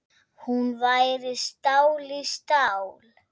Hún væri stál í stál.